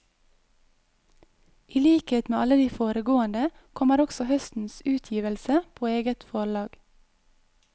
I likhet med alle de foregående kommer også høstens utgivelse på eget forlag.